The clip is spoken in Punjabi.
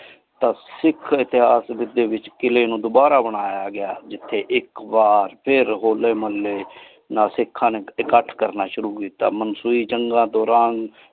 ਤਾ ਸਿਖ ਇਤੇਹਾਸ ਵਿਚ ਕਿਲੇ ਨੂ ਦੋਬਾਰਾ ਬਨਾਯਾ ਗਯਾ ਜਿਥਯ ਇਕ ਬਾਰ ਫਿਰ ਹੌਲ਼ੇ ਮੋਹਲ੍ਲੇ ਸਿਖਾ ਨੇ ਇਕਠ ਕਰਨਾ ਸ਼ੁਰੂ ਕੀਤਾ। ਮੰਸੋਈ ਜੰਗਾਂ ਦੌਰਾਨ।